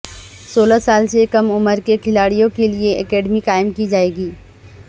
سولہ سال سے کم عمر کے کھلاڑیوں کے لیئے اکیڈمی قائم کی جائے گی